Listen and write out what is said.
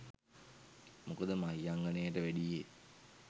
මොකද මහියංගණයට වැඩියේ